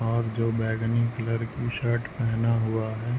और जो बैगनी क्लर की शर्ट पेहना हुआ है--